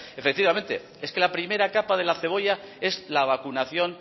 efectivamente es que la primera capa de la cebolla es la vacunación